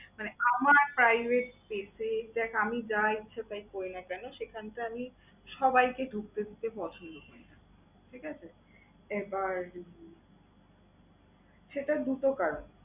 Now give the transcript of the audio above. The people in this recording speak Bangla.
মানে আমার বাড়ি সেই জায়গায় আমি যা ইচ্ছা তাই করি না কেন, সেখানেতো আমি সবাইকে ঢুকতে দিতে পছন্দ করি না, ঠিক আছে? এবার সেটা দুটো কারনে।